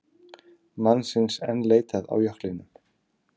Mannsins enn leitað á jöklinum